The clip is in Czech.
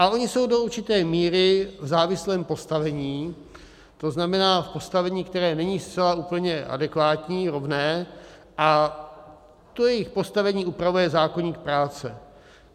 A oni jsou do určité míry v závislém postavení, to znamená v postavení, které není zcela úplně adekvátní, rovné, a to jejich postavení upravuje zákoník práce.